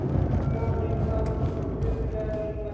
Jonni, hvaða vikudagur er í dag?